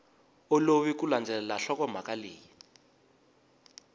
olovi ku landzelela nhlokomhaka leyi